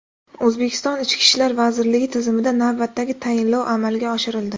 O‘zbekiston Ichki ishlar vazirligi tizimida navbatdagi tayinlov amalga oshirildi.